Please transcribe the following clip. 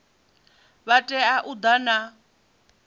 vha tea u ḓa na